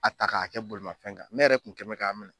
A ta k'a kɛ bolimafɛn kan ne yɛrɛ kun kɛni mɛ k'a minɛ.